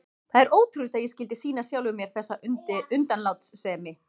Það er ótrúlegt að ég skyldi sýna sjálfum mér þessa undanlátssemi.